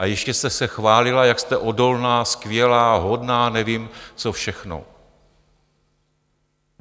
A ještě jste se chválila, jak jste odolná, skvělá, hodná nevím co všechno.